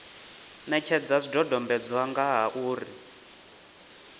netshedza zwidodombedzwa nga ha uri